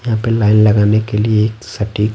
यहाँ पे लाइन लगाने के लिए एक सटीक--